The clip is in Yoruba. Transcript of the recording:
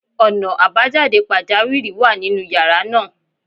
Ọ̀nà àbájáde pàjáwìrì wà nínú yàrá náà.